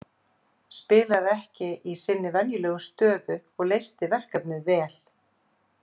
Spilaði ekki í sinni venjulegu stöðu og leysti verkefnið vel.